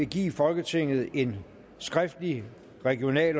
give folketinget en skriftlig regional